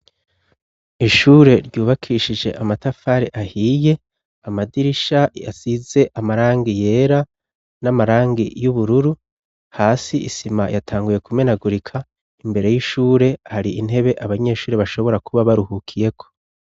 Ishure ryubakishije amatafari ahiye amadirisha yasize amarangi yera n'amarangi y'ubururu hasi isima yatanguye kumenagurika imbere y'ishure hari intebe abanyeshuri bashobora kuba baruhukiyeko.